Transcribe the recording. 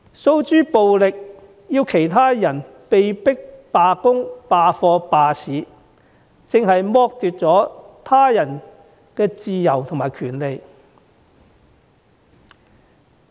訴諸暴力，迫其他人罷工、罷課、罷市，正是剝奪了他人的自由和權利。